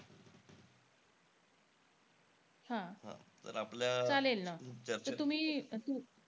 हा.